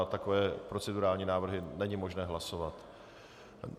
A takové procedurální návrhy není možné hlasovat.